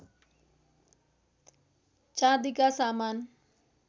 चाँदीका सामान